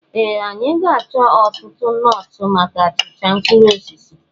Ee! Anyị ga-achọ ọtụtụ nọọtụ maka achịcha mkpụrụ osisi.